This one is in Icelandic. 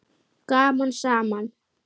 Gaman saman!